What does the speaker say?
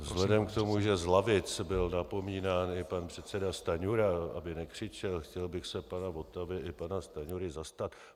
Vzhledem k tomu, že z lavic byl napomínán i pan předseda Stanjura, aby nekřičel, chtěl bych se pana Votavy i pana Stanjury zastat.